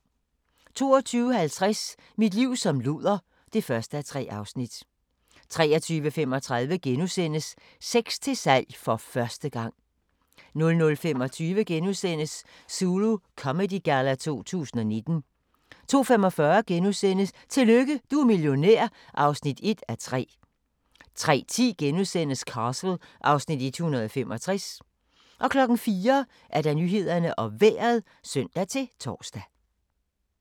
22:50: Mit liv som luder (1:3) 23:35: Sex til salg - for første gang * 00:25: Zulu Comedy Galla 2019 * 02:45: Tillykke, du er millionær (1:3)* 03:10: Castle (Afs. 165)* 04:00: Nyhederne og Vejret (søn-tor)